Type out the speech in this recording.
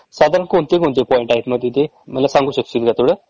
साधारण कोणते कोणते पॉईंट आहे मग तिथे ?मला सांगू शकशील काय तेवढ?